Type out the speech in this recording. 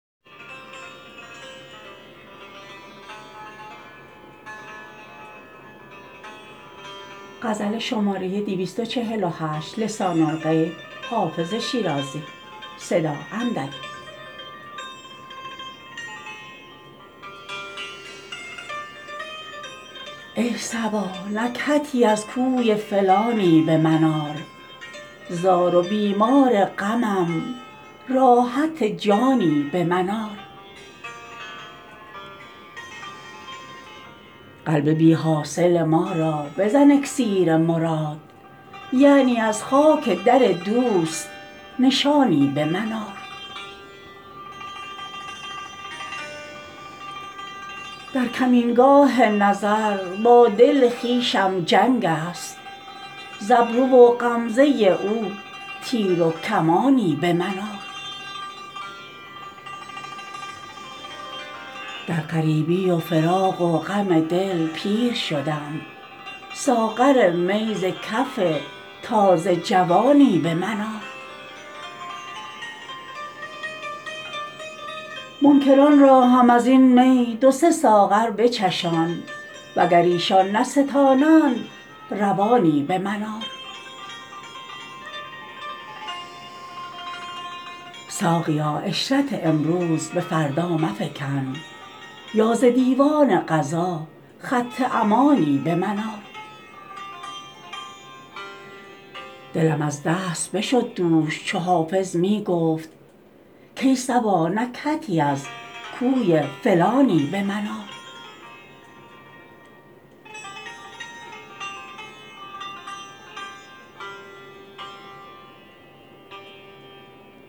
ای صبا نکهتی از کوی فلانی به من آر زار و بیمار غمم راحت جانی به من آر قلب بی حاصل ما را بزن اکسیر مراد یعنی از خاک در دوست نشانی به من آر در کمینگاه نظر با دل خویشم جنگ است ز ابرو و غمزه او تیر و کمانی به من آر در غریبی و فراق و غم دل پیر شدم ساغر می ز کف تازه جوانی به من آر منکران را هم از این می دو سه ساغر بچشان وگر ایشان نستانند روانی به من آر ساقیا عشرت امروز به فردا مفکن یا ز دیوان قضا خط امانی به من آر دلم از دست بشد دوش چو حافظ می گفت کای صبا نکهتی از کوی فلانی به من آر